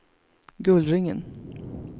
Gullringen